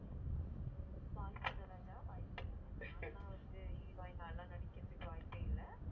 வாய்ப்பு இல்ல ராஜா வாய்ப்பு இல்ல நான் எல்லாம் வந்து heroine ஆ எல்லாம் நடிக்கிறதுக்கு வாய்ப்பே இல்ல okay okaybetter வந்து